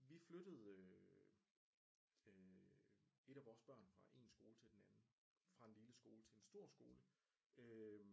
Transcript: Vi flyttede øh et af vores børn fra en skole til den anden fra en lille skole til en stor skole